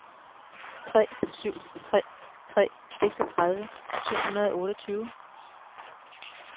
tre syv tre tre seksogtredive syv hundrede og otteogtyve